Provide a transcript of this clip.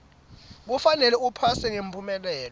kufanele uphase ngemphumelelo